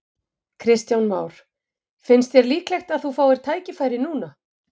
Kristján Már: Finnst þér líklegt að þú fáir tækifæri núna?